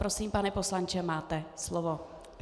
Prosím, pane poslanče, máte slovo.